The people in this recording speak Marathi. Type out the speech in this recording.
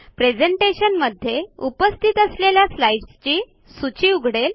प्रेझेंटेशन मध्ये उपस्थित असलेल्या स्लाईड्सची सूची उघडेल